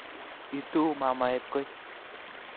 Ituu mamaet koy